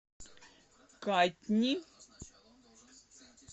катни